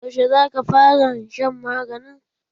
Yaushe za ka faran shan maganin?